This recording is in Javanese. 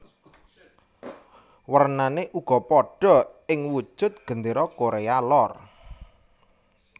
Wernané uga padha ing wujud Gendéra Korea Lor